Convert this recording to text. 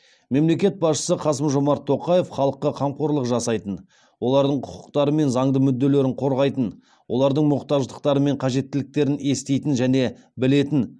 мемлекет басшысы қасым жомарт тоқаев халыққа қамқорлық жасайтын олардың құқықтары мен заңды мүдделерін қорғайтын олардың мұқтаждықтары мен қажеттіліктерін еститін және білетін